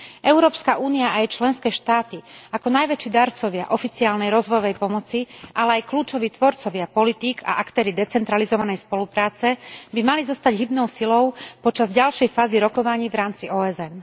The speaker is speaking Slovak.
Európska únia a jej členské štáty ako najväčší darcovia oficiálnej rozvojovej pomoci, ale aj kľúčoví tvorcovia politík a aktéri decentralizovanej spolupráce by mali zostať hybnou silou počas ďalšej fázy rokovaní v rámci OSN.